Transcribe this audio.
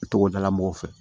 Togodala mɔgɔw fɛ